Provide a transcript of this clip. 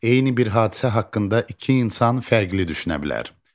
Eyni bir hadisə haqqında iki insan fərqli düşünə bilər.